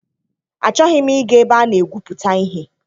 Achọghị m ịga ebe a na-egwuputa ihe.